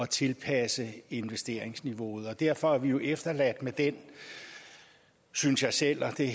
tilpasse investeringsniveauet derfor er vi jo efterladt med den synes jeg selv og det